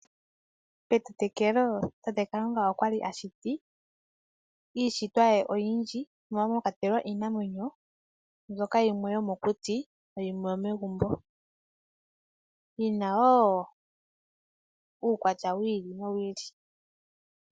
Patameko tate kalunga okwashiti iishitwa ye oyindji mono mwakwatelwa iinamwenyo yimwe ndjoka yomokuti na yimwe yomegumbo yina uukwatya wa yoolokathana.